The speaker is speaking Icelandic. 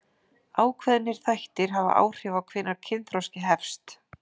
Ákveðnir þættir hafa áhrif á hvenær kynþroski hefst.